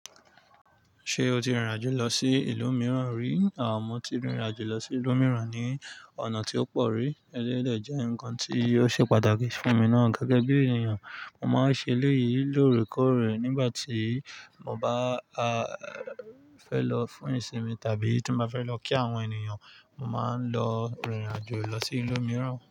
Ṣé o ti rìnrìn àjò lọ sí ìlú mìíràn rí? À mo ti rìnrìn àjò lọ sí ìlú mìíràn ní ọ̀nà tí ó pọ̀ rí, eléyi de je ǹkan tí ó ṣe pàtàkì fún mi náà gẹ́gẹ́ bí ènìyàn. Mo máa ń ṣe eleyi lóòrèkóòrè nígbà tí mo bá fẹ́ lọ fún ìsinmi tàbí tí n bá fẹ́ lọ kí àwọn ènìyàn. Mo máa ń lọ rìnrìn àjò lọ sí ìlú mìíràn.